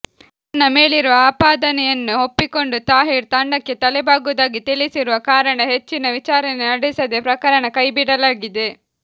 ತನ್ನ ಮೇಲಿರುವ ಆಪಾದನೆಯನ್ನು ಒಪ್ಪಿಕೊಂಡು ತಾಹಿರ್ ದಂಡಕ್ಕೆ ತಲೆಬಾಗುವುದಾಗಿ ತಿಳಿಸಿರುವ ಕಾರಣ ಹೆಚ್ಚಿನ ವಿಚಾರಣೆ ನಡೆಸದೇ ಪ್ರಕರಣ ಕೈಬಿಡಲಾಗಿದೆ